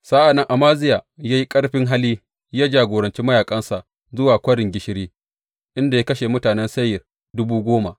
Sa’an nan Amaziya ya yi ƙarfin hali ya jagoranci mayaƙansa zuwa Kwarin Gishiri, inda ya kashe mutanen Seyir dubu goma.